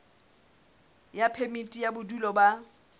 ya phemiti ya bodulo ba